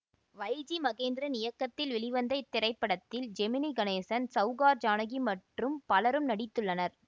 வை G Mahendran இயக்கத்தில் வெளிவந்த இத்திரைப்படத்தில் ஜெமினி கணேசன் சௌகார் ஜானகி மற்றும் பலரும் நடித்துள்ளனர்